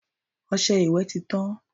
Ọṣẹ ìwẹ̀ tí tán.